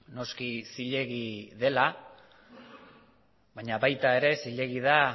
noski zilegi dela baina baita ere zilegi da